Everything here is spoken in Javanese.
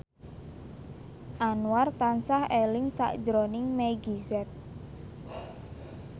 Anwar tansah eling sakjroning Meggie Z